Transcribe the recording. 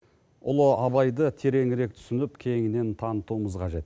ұлы абайды тереңірек түсініп кеңінен танытуымыз қажет